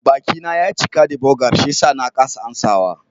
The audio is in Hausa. Bakina ya cika da burger shiyasa na kasa amsawa.